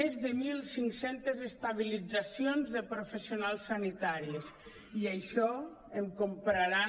més de mil cinc centes estabilitzacions de professionals sanitaris i això em compraran